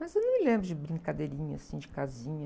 Mas eu não me lembro de brincadeirinha assim, de casinha.